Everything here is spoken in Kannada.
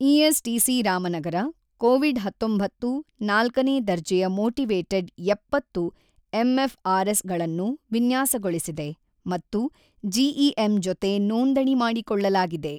ಇಎಸ್ ಟಿಸಿ ರಾಮನಗರ, ಕೋವಿಡ್ ಹತೊಂಬತ್ತು ನಾಲ್ಕನೇ ದರ್ಜೆಯ ಮೋಟಿವೇಟೆಡ್ ಎಪ್ಪತ್ತು ಎಂಎಫ್ಆರ್ ಎಸ್ ಗಳನ್ನು ವಿನ್ಯಾಸಗೊಳಿಸಿದೆ ಮತ್ತು ಜಿಇಎಂ ಜೊತೆ ನೋಂದಣಿ ಮಾಡಿಕೊಳ್ಳಲಾಗಿದೆ.